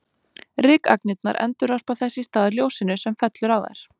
Rykagnirnar endurvarpa þess í stað ljósinu sem fellur á þær.